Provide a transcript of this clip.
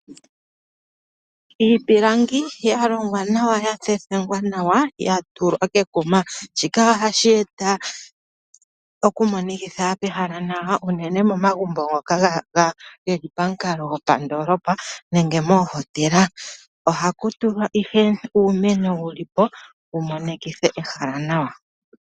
Iipilangi ya longwa nawa ya thethengwa nawa, ya tulwa kekuma, shika ohashi eta okumonikitha pehala nawa unene momagumbo ngoka ge li pamukalo gopandoolopa nenge moohotela. Ohaku tulwa ihe uumeno wu li po wu monikithe ehala nawa.